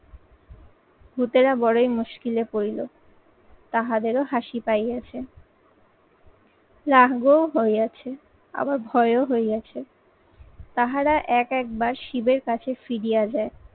ভূতেরা বড়ই মুশকিলে পরিলো। তাহাদেরও হাসি পাই আছে। রাগ ও হইইয়াছে আবার ভয়ও হয়ে আছে। তাহারা এক একবার শিবের কাছে ফিরিয়ে যায়